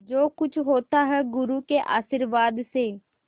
जो कुछ होता है गुरु के आशीर्वाद से